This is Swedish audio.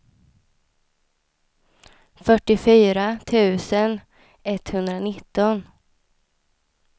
fyrtiofyra tusen etthundranitton